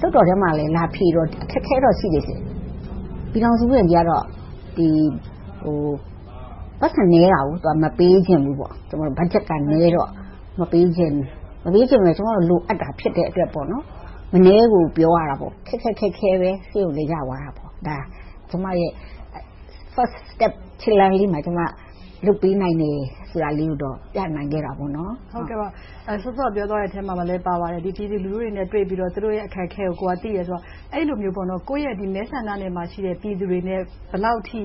လွှတ်တော်ထဲမှာ လာဖြေတော့ အခက်အခဲတော့ ရှိတယ်။ ပြည်ထောင်စုဝန်ကြီးက ပိုက်ဆံနည်းတော့ မပေးချင်ဘူး။ ဘတ်ဂျက်ကနည်းတော့ မပေးချင်ဘူး။ မပေးချင်တော့ ကျမတို့က လိုအပ်တာ ဖြစ်တဲ့အတွက်ကြောင့် မနည်းကိုပြောရတယ်။ ခက်ခက်ခဲခဲ ရသွားတာပေါ့။ အဲဒါ ကျမရဲ့ First step challenge လေးမှာ လုပ်ပေးနိုင်တာကိုတော့ ပြနိုင်ခဲ့တာပေါ့။ မစုမြတ်မွန် ။ ။ စောစောက ပြောသွားတဲ့အထဲမှာလည်း ပါပါတယ်။ ပြည်သူလူထုတွေနဲ့ တွေ့ပြီးတော့ သူတို့တွေရဲ့ အခက်အခဲကို သိတယ်ဆိုတော့ အဲဒီလိုမျိုး ကိုယ့်ရဲ့မဲဆန္ဒနယ်မြေမှာရှိတဲ့ ပြည်သူတွေနဲ့ ဘယ်လောက်အထိ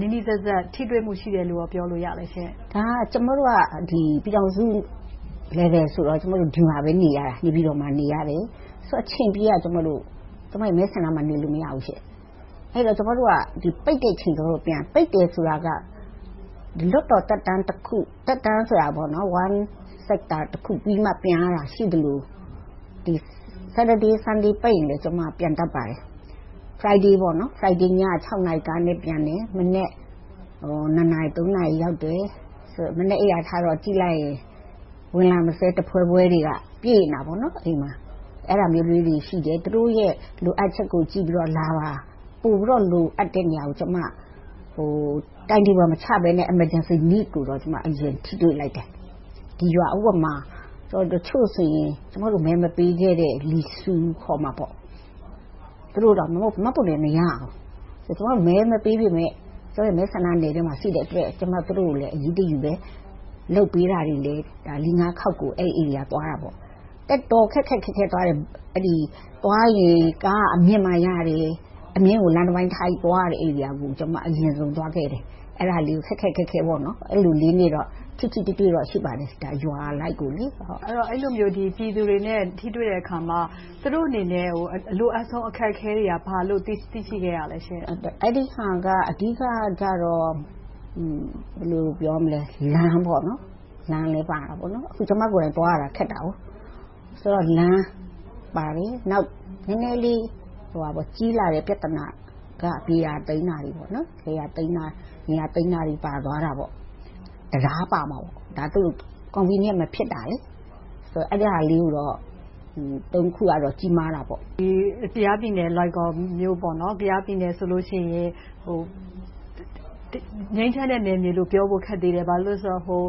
နီးနီးစပ်စပ် ထိတွေ့မှုရှိတယ်လို့ ပြောလို့ရလဲရှင့်။ ဒေါ်ခင်စည်သူ ။ ။ ကျမတို့က ပြည်ထောင်စု level ဆိုတော့ နေပြည်တော်မှာပဲ နေရတယ်။ အချိန်ပြည့် ကျမတို့ မဲဆန္ဒနယ်မြေမှာ နေလို့မရဘူး။ အဲဒီတော့ ကျမတို့က ပိတ်တဲ့အချိန်ပြန်။ ပိတ်တယ်ဆိုတာက လွှတ်တော်သက်တမ်း ခု။ သက်တမ်းဆိုတာက one sector တခုပြီးမှ ပြန်ရတာ ရှိသလို။ စနေ၊ တနင်္ဂနွေ ပိတ်ရင်လည်း ပြန်တတ်ပါတယ်။ သောကြာနေ့ ည နာရီကားနဲ့ပြန်တယ်။ မနက် နာရီ နာရီရောက်တယ်။ မနက်အိပ်ရာထလိုက်ရင် ဝင်လာမစဲတဖွဲဖွဲတွေက အိမ်မှာ ပြည့်နေတယ်။ အဲဒါမျိုးလေးတွေ ရှိတယ်။ သူတို့ရဲ့ လိုအပ်ချက်ကို ကြည့်ပြီးတော့ လာပါ။ ပိုပြီးတော့ လိုအပ်တဲ့နေရာကို ကျမက timetable မချဘဲနဲ့ emergency needs တွေကိုတော့ အရင်ထိတွေ့လိုက်တယ်။ ဒီရွာမှာ တချို့ဆိုရင် ကျမတို့ကို မဲမပေးခဲ့တဲ့ လီဆူး ခေါ်မှာပေါ့ သူတို့တွေက မှတ်ပုံတင်မရဘူး။ ကျမတို့ကို မဲမပေးပေမယ့် ကျမရဲ့ မဲဆန္ဒနယ်မြေထဲမှာရှိတဲ့အတွက် သူတို့ကိုလည်း အရေးတယူ လုပ်ပေးတာတွေလည်း လေးငါးခေါက် အဲဒီနယ်မြေကို သွားခဲ့တယ်။ တော်တော်လေး ခက်ခက်ခဲခဲ သွားရတယ်။ သွားရင် ကားက အမြင့်မှရတယ်။ အမြင့်ကို လမ်းတပိုင်းထားပြီး သွားရတဲ့နေရာကို ကျမ အရင်ဆုံးသွားခဲ့တယ်။ အဲဒီလို ခက်ခက်ခဲခဲနဲ့ ထိတွေ့မှု ရှိပါတယ်။ ရွာအလိုက်ကို။ မစုမြတ်မွန် ။ ။ အဲဒီလိုမျိုး ပြည်သူတွေနဲ့ ထိတွေ့တဲ့အခါမှာ သူတို့အနေနဲ့ အလိုအပ်ဆုံး အခက်အခဲတွေက ဘာတွေလို့ သိရှိခဲ့ရလဲရှင့်။ ဒေါ်ခင်စည်သူ ။ ။ အဓိကတော့ လမ်းလည်းပါတယ်။ ကျမကိုယ်တိုင် သွားရတာ ခက်တယ်။ ဆိုတော့ လမ်းပါတယ်။ နောက် နည်းနည်းလေး ကြီးလာတဲ့ ပြဿနာတွေက မြေယာသိမ်းတာ။ တံတားပါတယ်။ ဒါတွေက Convenience မဖြစ်တာတွေ။ အဲဒါလေး ခုကတော့ ကြီးမားတာပေါ့။ မစုမြတ်မွန် ။ ။ ကယားပြည်နယ် လွိုင်ကော်မြို့ဆိုရင် ငြိမ်းချမ်းတဲ့ နယ်မြေလို့ ပြောရခက်သေးတယ်။ ဘာဖြစ်လို့လဲဆိုတော့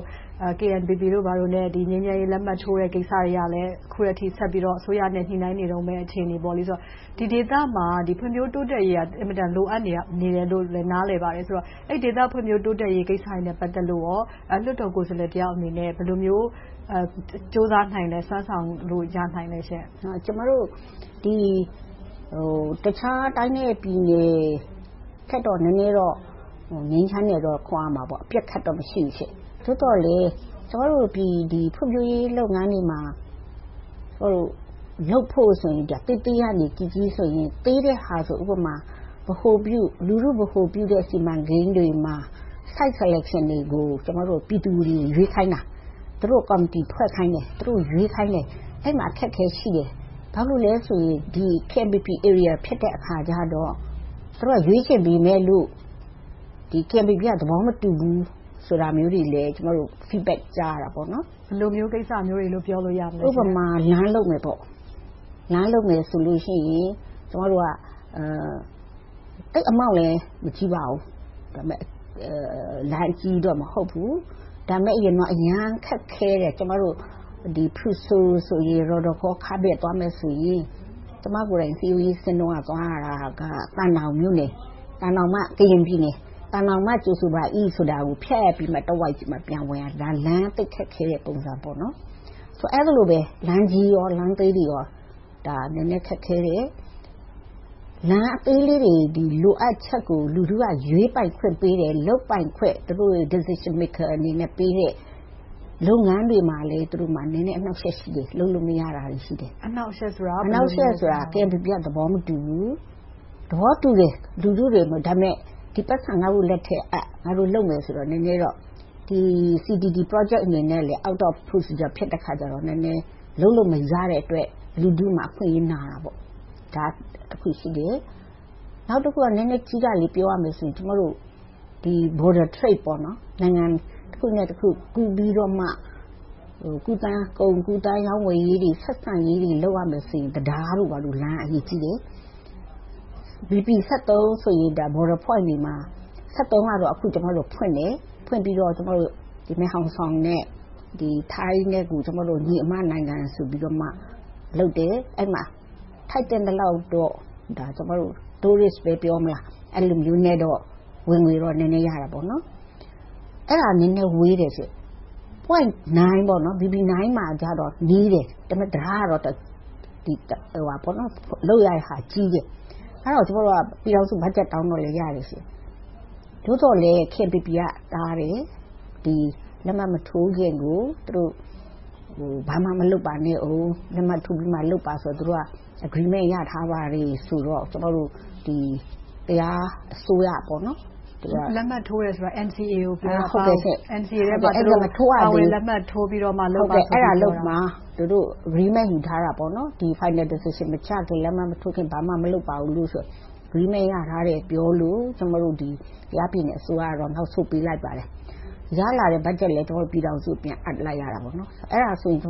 KNPP တို့ဘာတို့နဲ့ ငြိမ်းချမ်းရေးလက်မှတ်ထိုးတဲ့ ကိစ္စတွေက အခုထက်ထိ ဆက်ပြီးတော့ အစိုးရနဲ့ ညှိနှိုင်းနေတုန်း အခြေအနေဆိုတော့ ဒီဒေသမှာ ဖွံ့ဖြိုးတိုးတက်ရေးက အင်မတန် လိုအပ်နေတယ်လို့ နားလည်ပါတယ်။ အဲဒီဒေသ ဖွံ့ဖြိုးတိုးတက်ရေးကိစ္စတွေနဲ့ ပတ်သက်လိုကော လွှတ်တော်ကိုယ်စားလှယ်တယောက်အနေနဲ့ ဘယ်လိုမျိုး ကြိုးစားနိုင်လဲ။ စွမ်းဆောင်ရနိုင်လဲ။ ဒေါ်ခင်စည်သူ ။ ။ တခြားတိုင်းနဲ့ပြည်နယ်ထက်တော့ နည်းနည်းတော့ ငြိမ်းချမ်းတယ်လို့ ခေါ်လို့ရတယ်။ အပစ်အခတ်တော့ မရှိဘူး။ သို့သော်လဲ ဖွံ့ဖြိုးရေးလုပ်ငန်းတွေမှာ လုပ်ဖို့ဆိုရင် သေးသေးကနေ ကြီးကြီးဆိုရင် သေးတဲ့ဟာဆို ဗဟိုပြု လူထုဗဟိုပြုတဲ့ စီမံကိန်းတွေမှာ Site selection တွေကို ကျမတို့က ပြည်သူတွေကို ရွေးခိုင်းတာ။ သူတို့ကို ကော်မတီဖွဲ့ခိုင်းတယ်။ သူတို့တွေကို ရွေးခိုင်းတယ်။ အဲဒီမှာ အခက်အခဲတွေ ရှိတယ်။ ဘာဖြစ်လို့လဲဆိုရင် KNPP ဧရီယာ ဖြစ်တဲ့အခါကြတော့ သူတို့က ရွေးချယ်ပေမယ့်လို့ KNPP က သဘောမတူဘူးဆိုတာမျိုးတွေလည်း Feedback ကြားရတာပေါ့။ မစုမြတ်မွန် ။ ။ ဘယ်လိုမျိုးကိစ္စမျိုးတွေလို့ ပြောလို့ရမလဲ။ ဒေါ်ခင်စည်သူ ။ ။ ဥပမာ လမ်းလုပ်မယ် ဆိုလို့ရှိရင် ကျမတို့က သိပ် amount လည်း မကြီးပါဘူး။ လမ်းအကြီးကြီးတော့ မဟုတ်ဘူး။ ဒါပေမဲ့ အရင်တုန်းက သိပ်ခက်ခဲတဲ့ - - သွားမယ်ဆိုရင် ကျမကိုယ်တိုင် စည်းရုံးရေးဆင်းတုန်းက သွားရတာက သံတောင်မြို့နယ် - ကရင်ပြည်နယ်။ သံတောင်မှ ကြိုဆိုပါသည်ကို ဖြတ်ပြီးမှ တဝိုက်ကြီးမှ ပြန်ဝင်နိုင်တယ်။ ဒါက လမ်းသိပ်ခက်ခဲတဲ့ ပုံစံပေ့ါ။ အဲဒီလို လမ်းကြီးလမ်းသေးတွေ နည်းနည်းခက်ခဲတယ်။ လမ်းအသေးလေးတွေ လိုအပ်ချက်ကို လူထုက ရွေးပိုင်ခွင့်ပေးတယ်။ လုပ်ပိုင်ခွင့် Decision maker အနေနဲ့ပေးတဲ့ လုပ်ငန်းတွေမှာ သူတို့မှာ နည်းနည်းအနှောက်အယှက် ရှိတယ်။ လုပ်လို့မရတာတွေ ရှိတယ်။ မစုမြတ်မွန် ။ ။ အနှောင့်အယှက်ဆိုတာ… ဒေါ်ခင်စည်သူ ။ ။ KNPP က လုပ်ခွင့် သဘောမတူဘူး။ သဘောတူတယ်.. ဒီပိုက်ဆံ ငါတို့လက်ထဲအပ်.. ငါတို့ လုပ်မယ်ဆိုတော့ နည်းနည်းတော့ CTT Project အနေနဲ့ Out of procedure ဖြစ်တဲ့အခါကြတော့ နည်းနည်းလုပ်လို့ မရတဲ့အတွက် လူထုမှာ အခွင့်အရေးဆုံးရှုံး နာတာပေါ့။ ဒါက တခုရှိတယ်။ နောက်တခုက နည်းနည်းကြီးတာလေး ပြောရမယ်ဆိုရင် ကျမတို့ Border trade နိုင်ငံတခုနဲ့တခု ကူးသန်းရောင်းဝယ်ရေး၊ ဆက်ဆံရေးတွေ လုပ်ရမယ်ဆိုရင် တံတား၊ လမ်းတို့က အရေးကြီးတယ်။ BP ဆိုရင် Border points တွေမှာ ကတော့ အခု ကျမတို့ ဖွင့်ပြီးတော့ မဲ့ဟောင်ဆောင်နဲ့ ထိုင်းနဲ့ ညီအမနိုင်ငံဆိုပြီးတော့ လုပ်တယ်။ အဲဒီမှာ ထိုက်သင့်သလောက်တော့ Tourist ပဲ ပြောမလား။ အဲဒီလိုမျိုးနဲ့တော့ ဝင်ငွေတော့ နည်းနည်းရတယ်။ အဲဒါက နည်းနည်းဝေးတယ်။ Point ကတော့ နီးတယ်။ တံတားလုပ်ရတာ ကြီးတယ်။ အဲဒီတော့ ပြည်ထောင်စုဘတ်ဂျက် တောင်းတော့လည်း ရတယ်။ သို့သော်လဲ KNPP က တားတယ်။ လက်မှတ်မထိုးခင်ကို ဘာမှမလုပ်ပါနဲ့အုံး။ လက်မှတ်ထိုးပြီးမှ လုပ်ပါ။ သူတို့ Agreement ရထားပါတယ်ဆိုတော့ ကျမတို့ တရားဝင်အစိုးရ… မစုမြတ်မွန် ။ ။ လက်မှတ်ထိုးတယ်ဆိုတာ NCA က ပြောတာလား။ NCA ထဲမှာ ပါဝင်လက်မှတ်ထိုးပြီးမှ လုပ်ပါဆိုတာကို ပြောတာလား။ ဒေါ်ခင်စည်သူ ။ ။ အဲဒါကို သူတို့ Agreement ယူထားတာပါ။ Final decision မချခင်၊ လက်မှတ်မထိုးခင် ဘာမှမလုပ်ပါဘူးဆိုပြီး Agreement ရထားတယ်လို့ ပြောလို့ ကျမတို့ ကယားပြည်နယ်အစိုးရက နောက်ဆုတ်ပေးလိုက်ပါတယ်။ ရလာတဲ့ ဘတ်ဂျက်ကိုလည်း ပြည်ထောင်စုအစိုးရကို ပြန်အပ်လိုက်ပါတယ်။ အဲဒါမျိုးဆိုရင် နည်း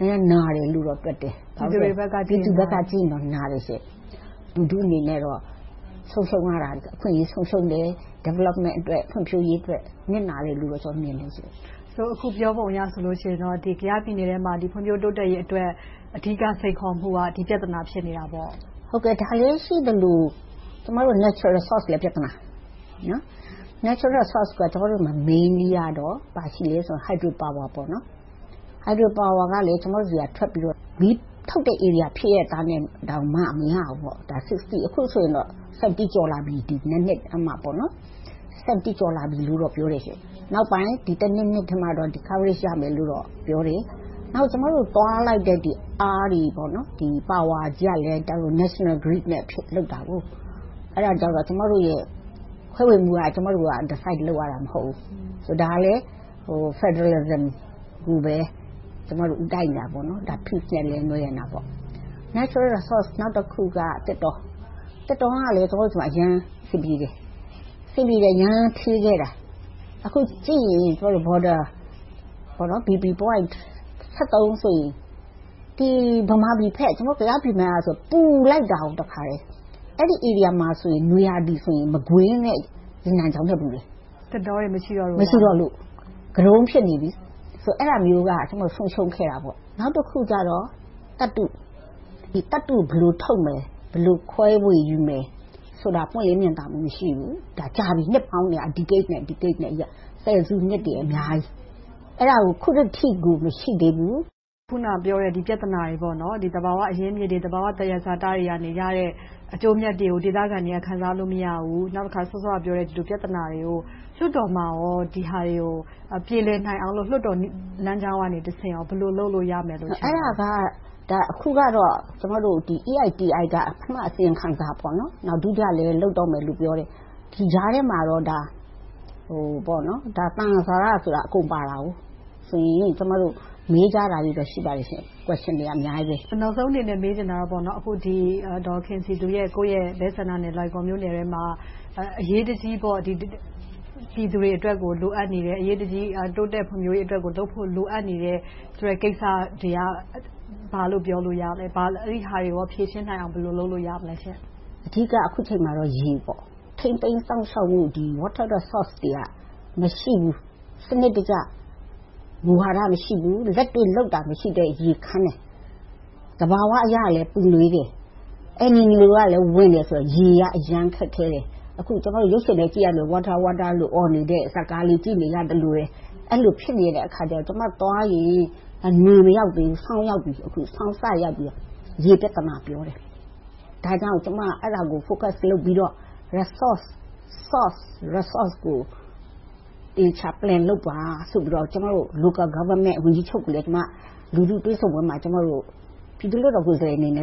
နည်းနာတယ်လို့တော့ ပြောလို့ရတယ်။ မစုမြတ်မွန် ။ ။ ပြည်သူတွေဘက်ကကြည့်ရင်ပေါ့။ ဒေါ်ခင်စည်သူ ။ ။ ပြည်သူတွေဘက်က ကြည့်ရင်တော့ နာတယ်။ လူထုအနေနဲ့ အခွင့်အရေး ဆုံးရှုံးတယ်။ ဖွံ့ဖြိုးရေးအတွက် နစ်နာတယ်လို့ မြင်တယ်ရှင့်။ မစုမြတ်မွန် ။ ။ ဆိုတော့ အခုပြောပုံအရဆိုရင်တော့ ကယားပြည်နယ်ထဲမှာ ဖွံ့ဖြိုးတိုးတက်ရေးအတွက် အဓိက စိန်ခေါ်မှုက ဒီပြဿနာ ဖြစ်နေတာပေါ့။ ဒေါ်ခင်စည်သူ ။ ။ ဒါလေးရှိသလို ကျမတို့ Natural resources လည်း ပြဿနာဖြစ်တယ်။ Natural resources က ကျမတို့မှာ အဓိကအားဖြင့် ဘာရှိလဲဆိုတော့ Hydropower.. အဲဒါကလည်း ကျမတို့ဆီက ထွက်ပြီးတော့ မီးထုတ်တဲ့ ဧရီယာဖြစ်ရဲ့သားနဲ့တောင်မှ မရဘူး။ ၆၀ - အခုဆိုရင် ၇၀ ကျော်လာပြီ။ နှစ်အတွင်းမှာ ကျော်လာပြီလို့ ပြောတယ်။ နောက်ပိုင်း နှစ် နှစ်အတွင်းမှာတော့ -- ရမယ်လို့တော့ ပြောတယ်။ နောက် ကျမတို့ သွားလိုက်တဲ့အားတွေကလည်း National grid နဲ့လုပ်တာ - အဲဒါကြတော့ ခွဲဝေမှုက ကျမတို့ ဆုံးဖြတ်ရတာ မဟုတ်ဘူး။ ဒါလဲ ဖယ်ဒရယ်စနစ်ကိုပဲ ကျမတို့ ဦးတိုက်နေတယ်။ ငြိမ်းချမ်းရေးနဲ့လည်း နွယ်နေတာပေါ့။ သံယဇာတ နောက်တခုက သစ်တော - သစ်တောကလည်း ကျမတို့ဆီမှာ အရမ်းအဆင်ပြေတယ်။ အဆင်ပြေတယ် အရမ်းဌေးခဲ့တာ။ အခုကြည့်ရင် Border point ဆိုရင် ကယားပြည်နယ်ဘက်ဆိုရင် ပူလိုက်တာ။ အဲဒီနေရာမှာဆိုရင် နွေရာသီဆိုရင် မကွေး၊ ရေနံချောင်းထက် ပူတယ်။ မစုမြတ်မွန် ။ ။ သစ်တောတွေ မရှိတော့လို့လား။ ဒေါ်ခင်စည်သူ ။ ။ သစ်တောတွေ မရှိတော့လို့။ ဂတုံး ဖြစ်နေပြီ။ အဲဒါမျိုးက ဆုံးရှုံးခဲ့တာ။ နောက်တခုကြတော့ သတ္တု ဘယ်လိုထုတ်မလဲ။ ဘယ်လို ခွဲဝေယူမလဲဆိုတာတွေ ပွင့်လင်းမြင်သာမှု မရှိဘူး။ နှစ်ပေါင်းများစွာ ဆယ်စုနှစ်ကျော်လာခဲ့ပြီ။ အဲဒါကို အခုထက်ထိ မရှိသေးဘူး။ မစုမြတ်မွန် ။ ။ အခုနပြောတဲ့ ဒီပြဿနာတွေ သဘာဝအရင်းအမြစ်တွေ၊ သဘာဝသယံဇာတတွေကရတဲ့ အကျိုးအမြတ်တွေကို ဒေသခံတွေက ခံစားလို့ မရဘူး။ နောက်တခါ စောစောကပြောတဲ့ ပြဿနာတွေကို လွှတ်တော်မှာကော ဒီဟာတွေကို ပြေလည်နိုင်အောင်လို့ လွှတ်တော်လမ်းကြောင်းကတဆင့် ဘယ်လိုမျိုး လုပ်လို့ရမယ်လို့ ထင်ပါလဲ။ ဒေါ်ခင်စည်သူ ။ ။ အဲဒါက အခုကတော့ ကျမတို့ EITI က ပထမ အစီရင်ခံစာ။ နောက် ဒုတိယအဆင့်လည်း လုပ်တော့မယ်လို့ ပြောတယ်။ ဒီကြားထဲမှာတော့ သယံဇာတဆိုတာ အကုန်ပါတယ်။ ကျမတို့ မေးကြတာတွေတော့ ရှိပါတယ်။ မစုမြတ်မွန် ။ ။ နောက်ဆုံးအနေနဲ့ မေးချင်တာကတော့ အခု ဒေါ်ခင်စည်သူအနေနဲ့ ကိုယ့်ရဲ့မဲဆန္ဒနယ်မြေထဲမှာ အရေးတကြီး ပြည်သူတွေအတွက် လိုအပ်နေတဲ့ အရေးတကြီး တိုးတက်ဖွံ့ဖြိုးရေးအတွက် လုပ်ဖို့လိုအပ်နေတဲ့ ကိစ္စတွေက ဘာတွေလို့ ပြောလို့ရမလဲ။ အဲဒါတွေကို ဖြေရှင်းနိုင်အောင် ဘယ်လိုလုပ်လို့ရမလဲ။ ဒေါ်ခင်စည်သူ ။ ။ အဓိက အခုအချိန်မှာတော့ ရေပါ။ ထိန်းသိမ်းစောင့်ရှောက်မှု Water resources တွေက မရှိဘူး။ စနစ်တကျ မူဝါဒ မရှိဘူး။ လက်တွေ့လုပ်တာ မရှိတော့ ရေခမ်းတယ်။ သဘာဝအရလည်း ပူနွေးတယ်။ ရေက အရမ်းခက်ခဲတယ်။ အခု ရုပ်ရှင်ထဲကြည့်ရတဲ့ Water water အော်နေတဲ့ ဇာတ်ကား ကြည့်နေရသလိုပဲ ကျမသွားရင် နွေမရောက်သေးဘူး၊ ဆောင်းရောက်ပြီ ရေပြဿနာ ပြောတယ်။ ဒါကြောင့် ကျမက အဲဒါကို Focus လုပ်ပြီးတော့ Resource source ကို သေချာ Plan လုပ်ပါဆိုပြီးတော့ ကျမတို့ Local government ဝန်ကြီးချုပ်ကိုလည်း လူထုတွေ့ဆုံပွဲမှာ ပြည်သူ့လွှတ်တော်ကိုယ်စားလှယ်အနေနဲ့